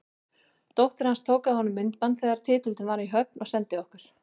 Dóttir hans tók af honum myndband þegar titillinn var í höfn og sendi okkur.